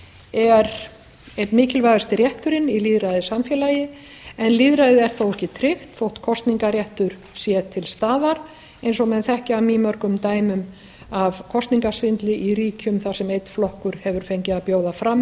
er einn mikilvægasti rétturinn í lýðræðissamfélagi en lýðræði er þó ekki tryggt þótt kosningarréttur sé til staðar eins og menn þekkja af mýmörgum dæmum af kosningasvindli í ríkjum þar sem einn flokkur hefur fengið að bjóða fram